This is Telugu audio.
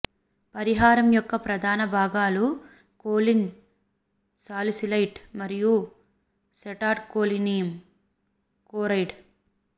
పరిహారం యొక్క ప్రధాన భాగాలు కోలిన్ సాలిసైలేట్ మరియు సెటాల్కోనియం క్లోరైడ్